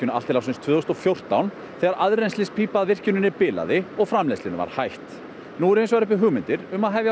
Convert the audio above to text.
allt til ársins tvö þúsund og fjórtán þegar aðrennslispípa að virkjuninni bilaði og framleiðslunni var hætt nú eru hins vegar uppi hugmyndir um að hefja